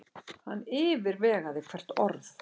Hann yfirvegaði hvert orð.